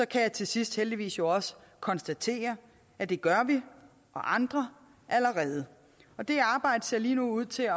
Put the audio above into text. kan jeg til sidst heldigvis også konstatere at det gør vi og andre allerede det arbejde ser lige nu ud til at